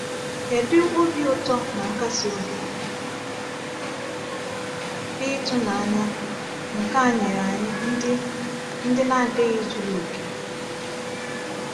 Kedu obi ụtọ na nkasi obi dị ịtụnanya nke a nyere anyị ndị ndị na-adịghị zuru oke!